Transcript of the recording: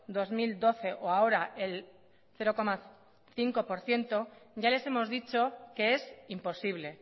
dos mil doce o ahora el cero coma cinco por ciento ya les hemos dicho que es imposible